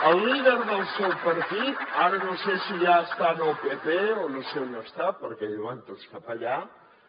el líder del seu partit ara no sé si ja està en el pp o no sé on està perquè van tots cap allà